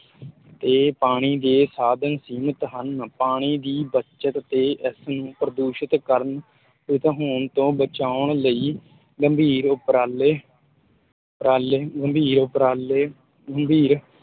ਤੇ ਪਾਣੀ ਦੇ ਸਾਧਨ ਸੀਮਤ ਹਨ, ਪਾਣੀ ਦੀ ਬੱਚਤ ਤੇ ਇਸ ਨੂੰ ਪ੍ਰਦੂਸ਼ਤ ਕਰਨ ਹੋਣ ਤੋਂ ਬਚਾਉਣ ਲਈ ਗੰਭੀਰ ਉੱਪਰਾਲੇ ਉੱਪਰਾਲੇ ਗੰਭੀਰ ਉੱਪਰਾਲੇ ਗੰਭੀਰ